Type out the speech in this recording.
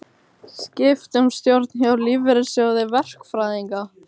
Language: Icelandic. Skipt um stjórn hjá Lífeyrissjóði verkfræðinga